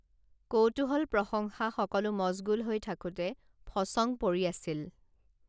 কৌতুহল প্ৰশংসা সকলো মচগুল হৈ থাকোঁতে ফচং পৰি আছিল